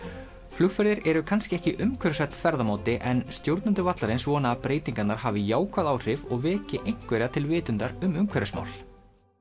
flugferðir eru kannski ekki umhverfisvænn ferðamáti en stjórnendur vallarins vona að breytingarnar hafi jákvæð áhrif og veki einhverja til vitundar um umhverfismál